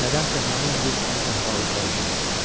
Nədənsə həmin gün onun əhvalı pərişan idi.